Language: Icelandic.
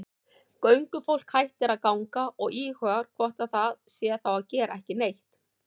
Göngufólk hættir að ganga og íhugar hvort það sé þá að gera ekki neitt.